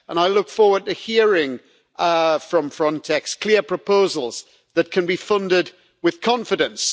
I look forward to hearing from Frontex clear proposals that can be funded with confidence.